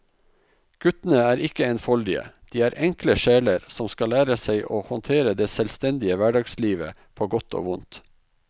Guttene er ikke enfoldige, de er enkle sjeler som skal lære seg å håndtere det selvstendige hverdagslivet på godt og vondt.